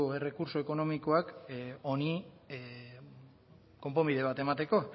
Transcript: errekurtso ekonomikoak honi konponbide bat emateko